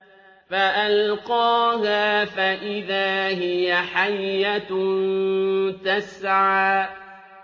فَأَلْقَاهَا فَإِذَا هِيَ حَيَّةٌ تَسْعَىٰ